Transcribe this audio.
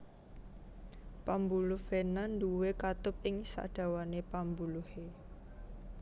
Pambuluh vena nduwé katup ing sadawané pambuluhé